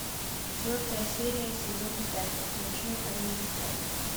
четвертая серия сезон пять ночной администратор